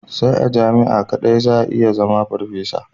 Sai a jami'a kadai za a iya zama farfesa.